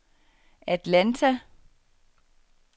Atlanta